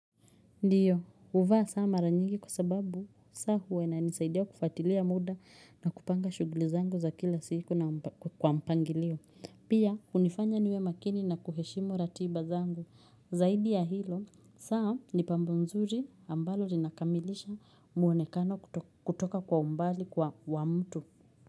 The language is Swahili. Ndiyo, huvaa saa mara nyingi kwa sababu, saa huwa inanisaidia kufuatilia muda na kupanga shughuli zangu za kila siku kwa mpangilio. Pia, hunifanya niwe makini na kuheshimu ratiba zangu. Zaidi ya hilo, saa ni pambo nzuri ambalo linakamilisha muonekano kutoka kwa umbali kwa wa mtu.